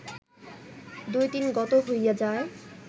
দুই দিন গত হইয়া যায়